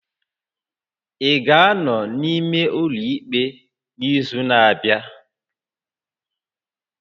Ị ga-anọ n'ime ụlọ ikpe n'izu na-abịa?